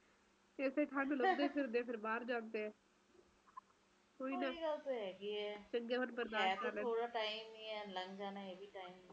ਸਿਧੇ ਨਾ ਸਹੀ ਪਾਰ ਕਹਿ ਨਾ ਕਹਿ ਇਸਦਾ ਆਪਸ ਚ ਤਾਲੁਕ ਤਾ ਰਹਿੰਦਾ ਹੈ ਐ ਤੁਸੀ ਦੇਖੋ ਤੋਂ ਅਏ ਨਾ ਜਿੰਨੇ ਅਬਾਦੀ ਵਧੇਗੀ ਓੰਨੇ ਘਰ ਚਾਹੀਦੇ ਰਹਿਣ ਵਾਸਤੇ ਉੱਨੇ ਪੇੜ ਕੱਟਣਗੇ ਉੱਨੇ ਪੇੜ ਘਟਣਗੇ ਪੇੜ ਘਟਣਗੇ ਤੇ ਹਰਿਆਲੀ ਘਟਊਗੀ